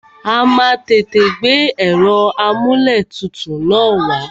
A má a tètè gbé ẹ̀rọ amúlẹ̀tutù na wá.